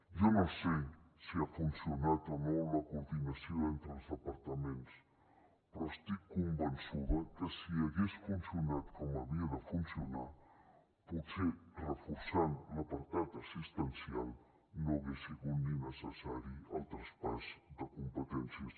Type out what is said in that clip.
jo no sé si ha funcionat o no la coordinació entre els departaments però estic convençuda que si hagués funcionat com havia de funcionar potser reforçant l’apartat assistencial no hagués sigut ni necessari el traspàs de competències